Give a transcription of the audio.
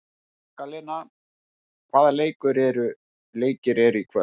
Magdalena, hvaða leikir eru í kvöld?